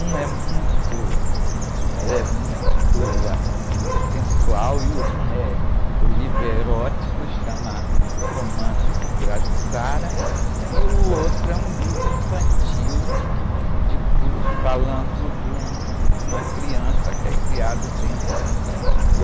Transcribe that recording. Um é muito, ela é muito, assim, sensual e um é, o livro erótico chama Romance do Pirajussara e o outro é um livro infantil, de cu, falando de um, de uma criança que é criada dentro de um candomblé.